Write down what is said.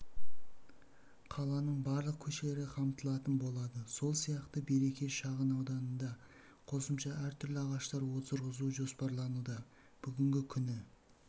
қаланың барлық көшелері қамтылатын болады сол сияқты береке шағынауданында қосымша әртүрлі ағаш отырғызу жоспарлануда бүгінгі күні